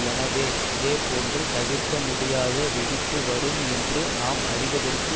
எனவே இதே போன்ற தவிர்க்க முடியாத வெடிப்பு வரும் என்று நாம் அறிவதற்கு